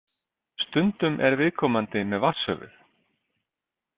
Stundum er viðkomandi með vatnshöfuð.